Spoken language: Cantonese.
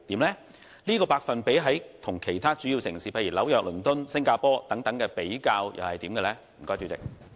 而有關百分比與其他主要城市，例如紐約、倫敦、新加坡等的比較結果又如何？